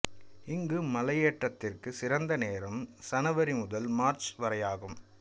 இங்கு மலையேற்றத்திற்கு சிறந்த நேரம் சனவரி முதல் மார்ச் வரையாகும்